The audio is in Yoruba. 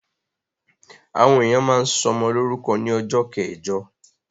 Àwọn èèyàn máa ń sọmọ lórúkọ ní ọjọ́ kẹjọ